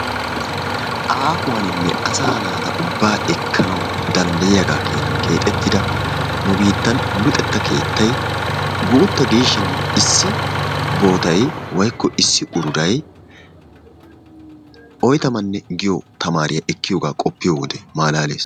Aahuwaninne asa naata ubaa ekkanawu danddayiyagaa keenan keexetida nu biittan luxetta keettay guuta giishin issi bootay woykko issi uruday otyamanne giyo tamaariya ekkiyoga qoppiyo wode maalalees